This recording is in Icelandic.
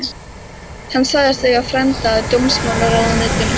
Hann sagðist eiga frænda í dómsmálaráðuneytinu.